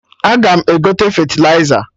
Aga m egote fetịliza